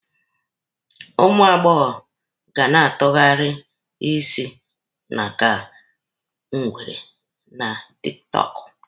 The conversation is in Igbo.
Ụmụ agbọbịa ga na-atụgharị isi na ka ngwere na tiktọọkụ.